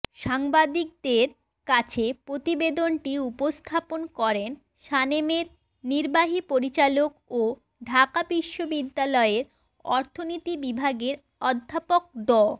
সাংবাদিকদের কাছে প্রতিবেদনটি উপস্থাপন করেন সানেমের নির্বাহী পরিচালক ও ঢাকা বিশ্ববিদ্যালয়ের অর্থনীতি বিভাগের অধ্যাপক ড